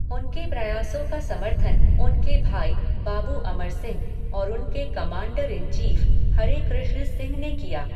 उनके प्रयासों का समर्थन उनके भाई, बाबू अमर सिंह और उनके commander in chief, Hare Krishna Singh ने किया।